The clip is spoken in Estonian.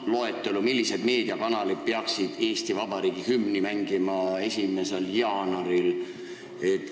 Näiteks, loetelu, millised meediakanalid peaksid 1. jaanuaril Eesti Vabariigi hümni mängima.